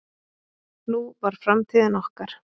Nú var framtíðin okkar.